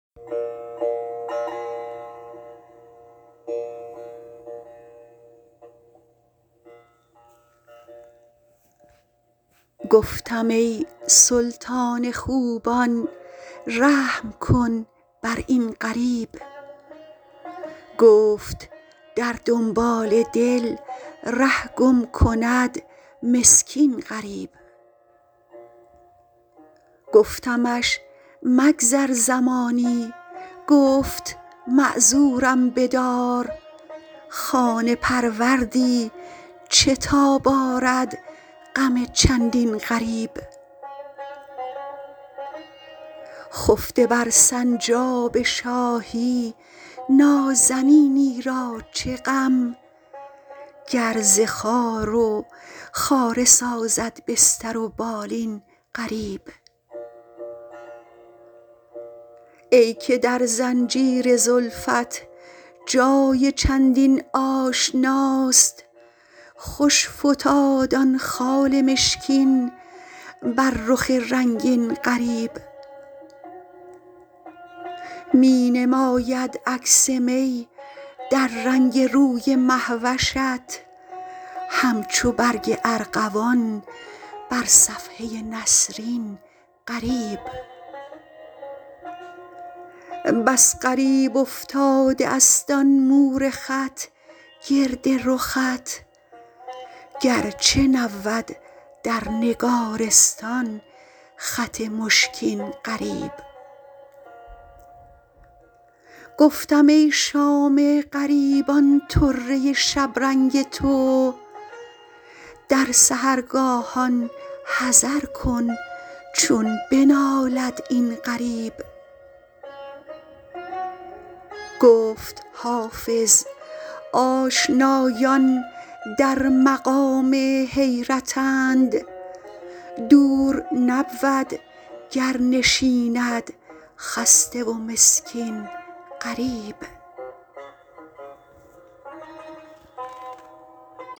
گفتم ای سلطان خوبان رحم کن بر این غریب گفت در دنبال دل ره گم کند مسکین غریب گفتمش مگذر زمانی گفت معذورم بدار خانه پروردی چه تاب آرد غم چندین غریب خفته بر سنجاب شاهی نازنینی را چه غم گر ز خار و خاره سازد بستر و بالین غریب ای که در زنجیر زلفت جای چندین آشناست خوش فتاد آن خال مشکین بر رخ رنگین غریب می نماید عکس می در رنگ روی مه وشت همچو برگ ارغوان بر صفحه نسرین غریب بس غریب افتاده است آن مور خط گرد رخت گرچه نبود در نگارستان خط مشکین غریب گفتم ای شام غریبان طره شبرنگ تو در سحرگاهان حذر کن چون بنالد این غریب گفت حافظ آشنایان در مقام حیرتند دور نبود گر نشیند خسته و مسکین غریب